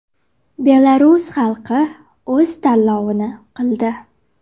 Belarus xalqi o‘z tanlovini qildi.